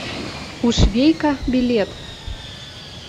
у швейка билет